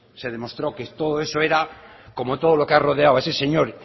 se demostró que todo eso era como todo lo que ha rodeado a ese señor